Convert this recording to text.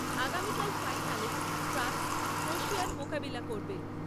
আগামীকাল ফাইনালে ফ্রান্স ক্রোয়েশিয়ার মোকাবিলা করবে ।